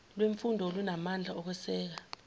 lwemfundo olunamandla okweseka